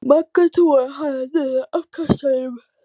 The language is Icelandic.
Magga togaði hana niður af kassanum.